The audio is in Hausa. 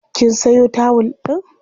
Kin sayo tawul ɗin?